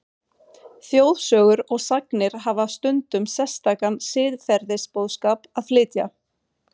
Þjóðsögur og sagnir hafa stundum sérstakan siðferðisboðskap að flytja.